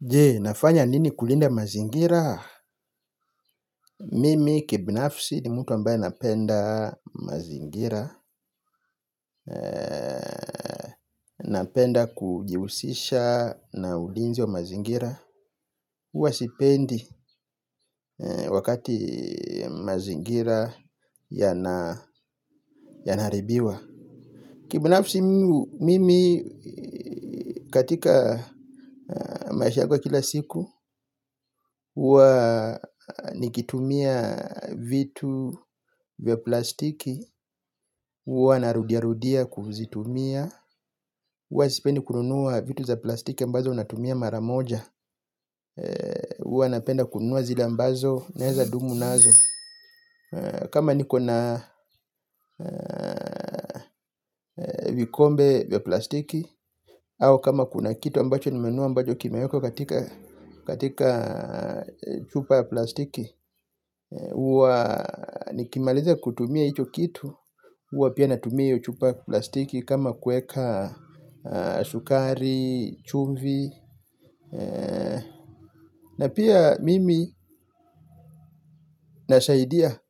Je nafanya nini kulinda mazingira? Mimi kibinafsi ni mtu ambaye napenda mazingira napenda kujihusisha na ulinzi wa mazingira huwa sipendi wakati mazingira yana aribiwa. Kibnafsi mimi katika maisha yangu ya kila siku huwa nikitumia vitu vya plastiki huwa narudiarudia kuzitumia huwa sipendi kununuwa vitu za plastiki ambazo unatumia maramoja huwa napenda kununuwa zile ambazo naeza dumu nazo kama nikona vikombe vya plastiki au kama kuna kitu ambacho nimenunua ambacho kimeekwa katika chupa ya plastiki huwa nikimaliza kutumia hicho kitu huwa pia natumia hiyo chupa ya plastiki kama kueka sukari, chumvi na pia mimi nasaidia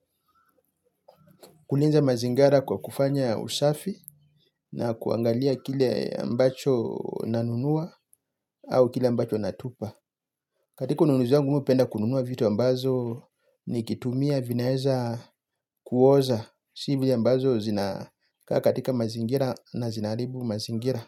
kulinza mazingira kwa kufanya usafi na kuangalia kile ambacho nanunua au kile ambacho natupa. Katika ununuzi wangu mimi napenda kununua vitu ambazo nikitumia vinaweza kuoza si vile ambazo zinakaa katika mazingira na zina aribu mazingira.